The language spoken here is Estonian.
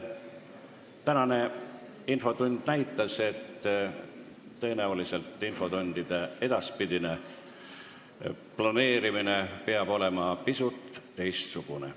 Tänane infotund näitas, et tõenäoliselt peab infotundide edaspidine planeerimine olema pisut teistsugune.